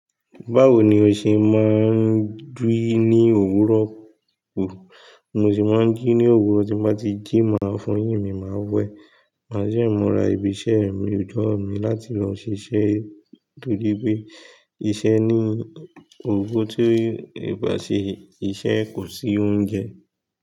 Báwo ni o ṣe máa ń diri ní òwúrọ̀? Bi mo se máa ń jí ní òwúrọ̀, tí n bá ti jí máa fọyín mi máa wẹ̀. Màá sì mura ibi iṣẹ́ mi, ojọ mi láti lọ ṣiṣẹ́ torí pé iṣẹ́ ní òwo ti eeyan o bá ṣe, iṣẹ́ kò sí oúnjẹ.